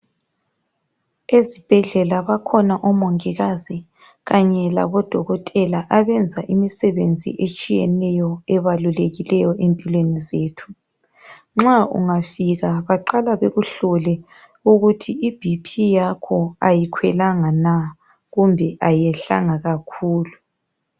Ezibhedlela bakhona omongikazi kanye labodokotela abenza imisebenzi etshiyeneyo ebalulekileyo empilweni zethu nxa ungafika baqala bekuhlole ukuthi iBP yakho ayikhwelanga na kumbe ayehlanga kakhulu.